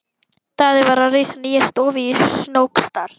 Daði var að reisa nýja stofu í Snóksdal.